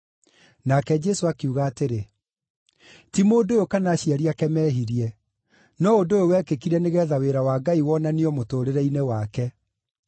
Nake Jesũ akiuga atĩrĩ, “Ti mũndũ ũyũ kana aciari ake mehirie. No ũndũ ũyũ wekĩkire nĩgeetha wĩra wa Ngai wonanio mũtũũrĩre-inĩ wake.